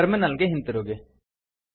terminal ಗೆ ಹಿಂತಿರುಗಿ